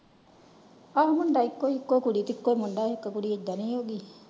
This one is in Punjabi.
ਆਹੋ ਮੁੰਡਾ ਇਕੋ ਏ ਇਕੋ ਕੁੜੀ ਤੇ ਇਕੋ ਮੁੰਡਾ ਤੇ ਇਕੋ ਕੁੜੀ ਐਡਾ ਦੀ ਹੈਗੀ।